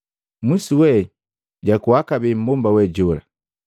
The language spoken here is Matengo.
Mwisuwe jakuwa kabee mmbomba we jola.